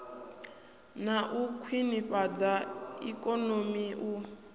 na u khwinifhadza ikonomi u